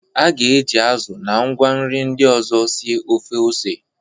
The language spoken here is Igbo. A ga-eji azụ na ngwa nri ndị ọzọ sie ofe ose.